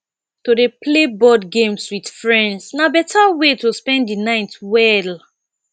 to dey play board games with friends na beta way to spend the night well